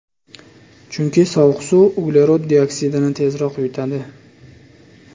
Chunki sovuq suv uglerod dioksidini tezroq yutadi.